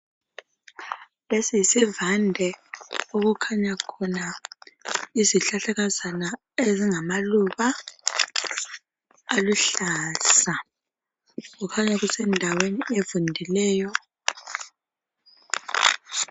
Lesi yisivande okukhanya khona Izihlahlakazana ezingamaluba aluhlaza. kukhanya kusendaweni evundileyo .